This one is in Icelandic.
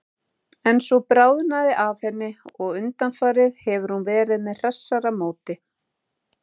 En svo bráði af henni og undanfarið hefur hún verið með hressara móti.